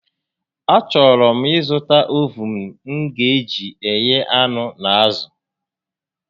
A chọrọ m ị zụta ovuun m ga eji eghe anụ na azụ